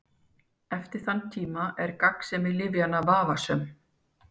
Eftir þann tíma er gagnsemi lyfjanna vafasöm.